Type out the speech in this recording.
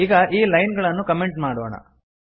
ಈಗ ಈ ಲೈನ್ ಗಳನ್ನು ಕಮೆಂಟ್ ಮಾಡೋಣ